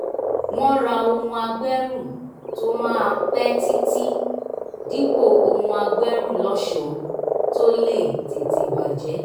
wọ́n ra ohun agbẹ́rù tó máa pẹ́ títí dípò ohun agbẹ́rù lọ́ṣọ̀ọ́ tó lè tètè bàjẹ́